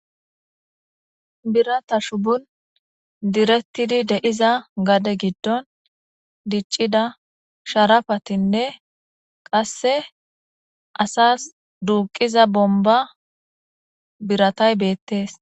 birata shubon direttidi de'iza gade giddon diccida sharafatinne qasse asas duuqiza bomba biratay beettees